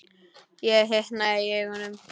Og hitnaði í augum.